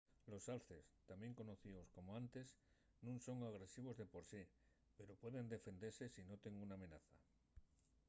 los alces tamién conocíos como antes nun son agresivos de por sí pero pueden defendese si noten una amenaza